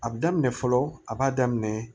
A bi daminɛ fɔlɔ a b'a daminɛ